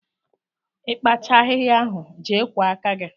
Ị kpachaa ahịhịa ahụ, jee kwọọ aka gị!